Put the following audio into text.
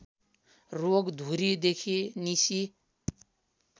रोगा धुरीदेखि निसी